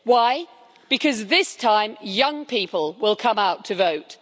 Why? Because this time, young people will come out to vote.